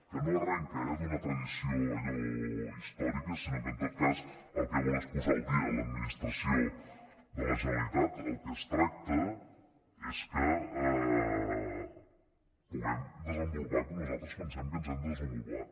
que no arrenca eh d’una tradició allò històrica sinó que en tot cas el que vol és posar al dia l’administració de la generalitat del que es tracta és que ens puguem desenvo lupar com nosaltres pensem que ens hem de desen volupar